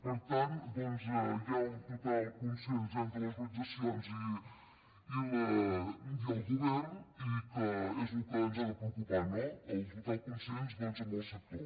per tant doncs hi ha un total consens entre les orga·nitzacions i el govern i que és el que ens ha de preo·cupar no el total consens amb el sector